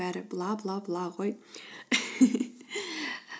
бәрі бла бла бла ғой